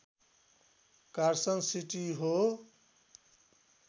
Carson City हो